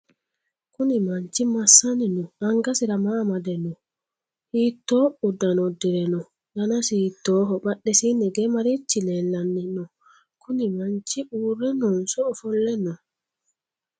kuni manchi massanni nooho? angasira maa amade nooho? hiitto uddano uddire nooho? danasi hiittoho? badhesiinni hige marichi leellanni no?kuni manchi uurre noonso ofolle nooho?